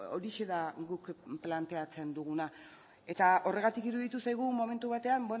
horixe da guk planteatzen duguna eta horregatik iruditu zaigu momentu batean